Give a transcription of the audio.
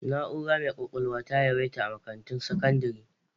Na'urar mai kwakwalwa ta yawaita a makarantun sakandire